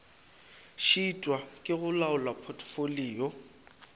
šitwa ke go laola potfolio